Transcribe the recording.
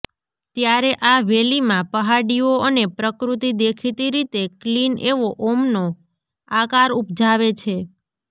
ત્યારે આ વેલીમાં પહાડીઓ અને પ્રકૃતિ દેખીતી રીતે ક્લીન એવો ઓમનો આકાર ઉપજાવે છે